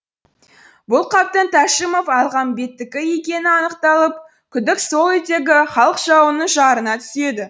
бұл қаптың тәшімов әлмағамбеттікі екені анықталып күдік сол үйдегі халық жауының жарына түседі